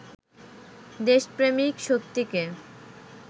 দেশপ্রেমিক শক্তিকে